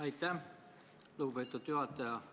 Aitäh, lugupeetud juhataja!